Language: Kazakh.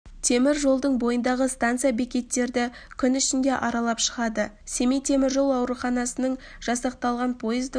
темір жолдың бойындағы станция бекеттерді кун ішінде аралап шығады семей темір жол ауруханасынан жасақталған пойыздың